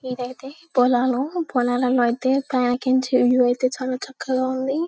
ఇది అయితే పొలాలు పొలాల్లో అయితే అయితే చాలా చక్కగా ఉంది